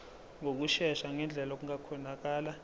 ngokushesha ngendlela okungakhonakala